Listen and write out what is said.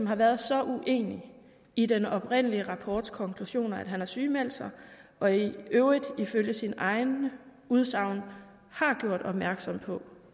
har været så uenig i den oprindelige rapports konklusioner at han har sygemeldt sig og i øvrigt ifølge sit eget udsagn har gjort opmærksom på